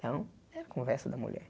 Então, era conversa da mulher.